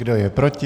Kdo je proti?